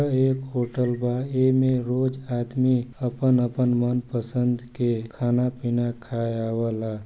ये एक होटल बा ए मे रोज आदमी अपन-अपन मन पसंद के खाना पीना खाये अवला।